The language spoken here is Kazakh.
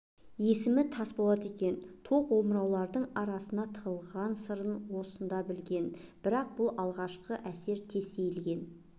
есімі тасболат екен тоқ омыраулардың арасына тығылған сырын сонда білген бірақ бұл алғашқы әсер тез сейілген